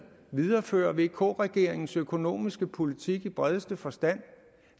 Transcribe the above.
viderefører vk regeringens økonomiske politik i bredeste forstand